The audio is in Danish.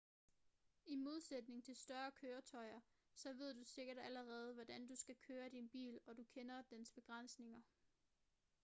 i modsætning til større køretøjer så ved du sikkert allerede hvordan du skal køre din bil og du kender dens begrænsninger